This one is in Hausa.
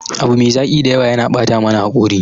Abu mai zaki da yawa yana bata mana hakori.